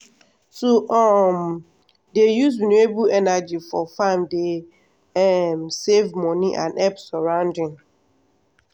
to um dey use renewable energy for farm dey um save money and help surrounding.